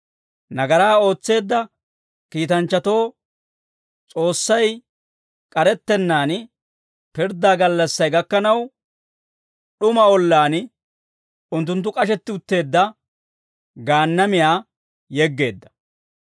Nagaraa ootseedda kiitanchchatoo S'oossay k'arettennaan, pirddaa gallassay gakkanaw d'uma ollaan unttunttu k'ashetti utteedda Gaannamiyan yeggeedda.